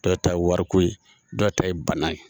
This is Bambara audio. Dɔw ta ye wariko ye, dɔw ta ye bana ye.